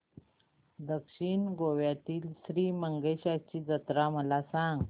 दक्षिण गोव्यातील श्री मंगेशाची जत्रा मला सांग